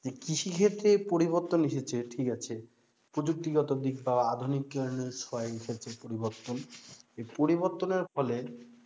যে কৃষিক্ষেত্রে পরিবর্তন এসেছে ঠিক আছে প্রযুক্তিগত দিক বা আধুনিক কারণে পরিবর্তন, এই পরবর্তনের ফলে,